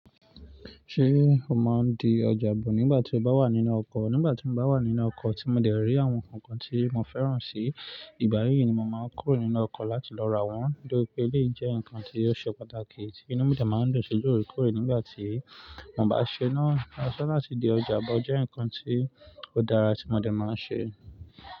Ṣé o máa ń di ọjà bọ̀ nígbà tí o bá wà nínú ọkọ̀? Nígbà tí mo bá wà nínú ọkọ̀ tí mo dẹ̀ rí àwọn ǹkan kan tí mo fẹ́ràn si, ìgbà yí ni mo màá n kúrò nínú ọkọ̀ láti lọ ra wọn, de bi pé èyí jẹ́ ǹkan tí ó ṣe pàtàkì tí inú mi dẹ̀ máa ń dùn sí loore koorè nígbà tí mo bá ṣe náà. Aṣọ láti di ọjà bọ̀ jẹ́ ǹkan tí ó dára tí mo dẹ̀ máa ń ṣe.